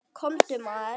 Komdu maður.